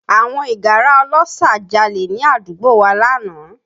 Àwọn ìgárá ọlọ́ṣà jalè ní àdúgbò wa lánàá